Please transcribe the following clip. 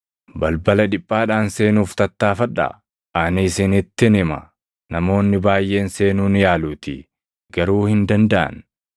“Balbala dhiphaadhaan seenuuf tattaaffadhaa; ani isinittin hima; namoonni baayʼeen seenuu ni yaaluutii; garuu hin dandaʼan.